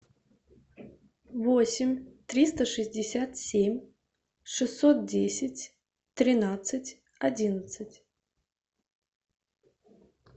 восемь триста шестьдесят семь шестьсот десять тринадцать одиннадцать